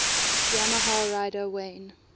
yamaha rider wayne